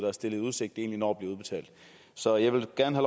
er stillet i udsigt egentlig når at blive udbetalt så jeg vil gerne